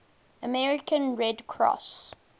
american red cross